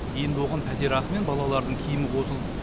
енді оған пәтерақы мен балалардың киімі қосылды